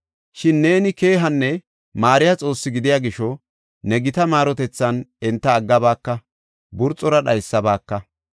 Shin neeni keehanne maariya Xoossi gidiya gisho, ne gita maarotethan enta aggabaaka; burxora dhaysabaka.